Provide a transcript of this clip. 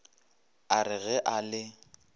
a re ge a le